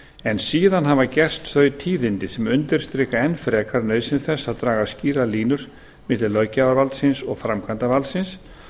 en síðan hafa gerst þau tíðindi sem undirstrika enn frekar nauðsyn þess að draga skýrar línur milli löggjafarvaldsins og framkvæmdarvaldsins og